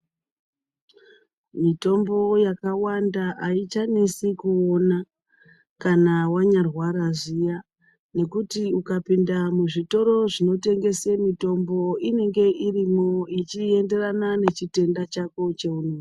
Mitombo yakawanda aichanesi kuona kana wanyarwara zviya nekuti ukapinde muzvitoro zvinotengese mitombo inenge irimwo ichienderana nechitenda chako cheunozwa.